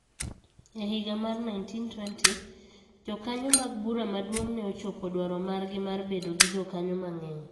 E higa mar 1920, jokanyo mag Bura Maduong' ne ochopo dwaro margi mar bedo gi jokanyo mang'eny.